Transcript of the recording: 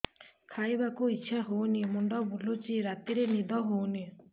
ଖାଇବାକୁ ଇଛା ହଉନି ମୁଣ୍ଡ ବୁଲୁଚି ରାତିରେ ନିଦ ହଉନି